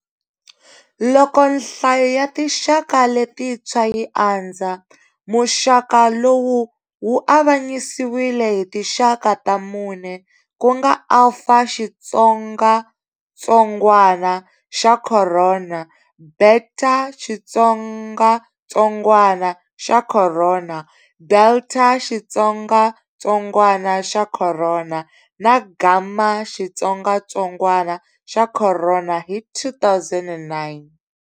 Loko nhlayo ya tinxaka letintshwa yi andza, muxaka lowu wu avanyisiwile hi tinxaka ta mune, ku nga"Alphaxitsongatsongwana xa khorona", "Betaxitsongatsongwana xa khorona", "Deltaxitsongatsongwana xa khorona", na"Gammaxitsongatsongwana xa khorona" hi 2009.